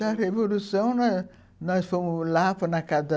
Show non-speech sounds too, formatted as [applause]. Da revolução, nós nós fomos lá, na casa [unintelligible]